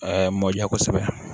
mɔja kosɛbɛ